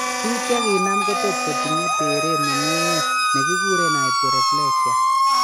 Bik chiginam ko tot kotinye teret nemi ng'weny negiguren hyporeflexia